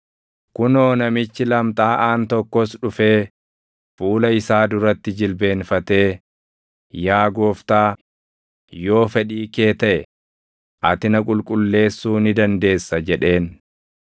Kunoo namichi lamxaaʼaan tokkos dhufee, fuula isaa duratti jilbeenfatee, “Yaa Gooftaa, yoo fedhii kee taʼe, ati na qulqulleessuu ni dandeessa” jedheen.